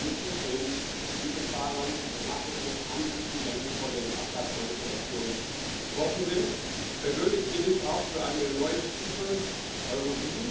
Wir müssen den Dieselfahrern eine Nachrüstung anbieten, wenn sie von den Abgasmanipulationen betroffen sind. Persönlich bin ich auch für eine neue Stufe Euro